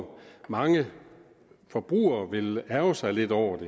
mange forbrugere vil ærgre sig lidt over